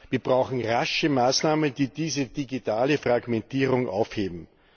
Wir brauchen rasche Maßnahmen, die diese digitale Fragmentierung aufheben.